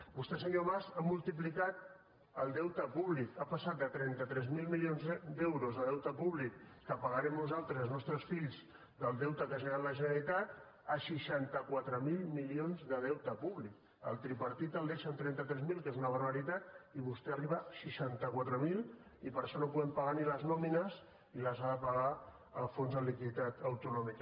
vostè senyor mas ha multiplicat el deute públic ha passat de trenta tres mil milions d’euros de deute públic que pagarem nosaltres i els nostres fills del deute que ha generat la generalitat a seixanta quatre mil milions de deute públic el tripartit el deixa en trenta tres mil que és una barbaritat i vostè arriba a seixanta quatre mil i per això no podem pagar ni les nòmines i les ha de pagar el fons de liquiditat autonòmica